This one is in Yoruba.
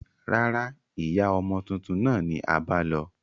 Rárá, ìyá ọmọ tuntun náà ni a bá lọ